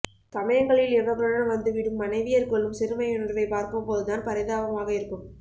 சமயங்களில் இவர்களுடன் வந்துவிடும் மனைவியர் கொள்ளும் சிறுமையுணர்வைப் பார்க்கும்போதுதான் பரிதாபமாக இருக்கும்